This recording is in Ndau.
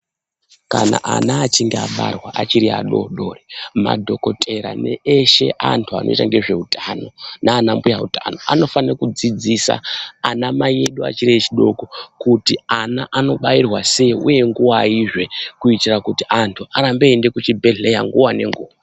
Kana ana achinge abarwa achiri adodori madhokotera ne eshe andu anooita ngezve utano nana mbuya utano anofane kudzidzisa ana mai edu achiri echi doko kuti ana ano bairwa sei uye nguvaizve kuitira kuti andu arambe eyi ende kuzvi bhehlera nguva ne nguva.